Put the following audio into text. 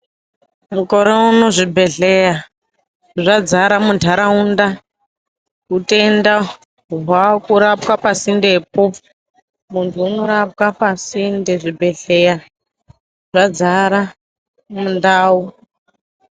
Mukore uno zvibhedhleya zvadzara mundaraunda utenda hwakurapwa pasindepo muntu unorapwa pasinde zvibhedhleya zvadzara mundau.